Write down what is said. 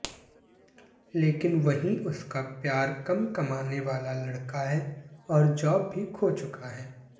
लेकिन वहीं उसका प्यार कम कमाने वाला लड़का है और जॉब भी खो चुका है